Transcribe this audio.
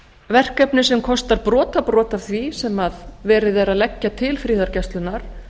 verkefni sem kostar brotabrot af því sem verið er að leggja til friðargæslunnar